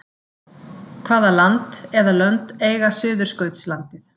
Hvaða land eða lönd eiga Suðurskautslandið?